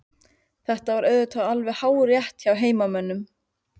Þetta var auðvitað alveg hárrétt hjá heimamönnum.